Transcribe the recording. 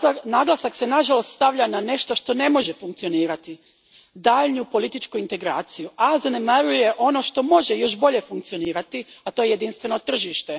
Naglasak se nažalost stavlja na nešto što ne može funkcionirati, daljnju političku integraciju, a zanemaruje ono što može još bolje funkcionirati, a to je jedinstveno tržište.